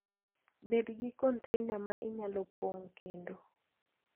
Bed gi container ma inyalo pong' kendo.